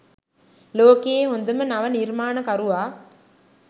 ලෝකයේ හොඳම නව නිර්මාණකරුවා